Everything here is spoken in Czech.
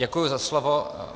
Děkuji za slovo.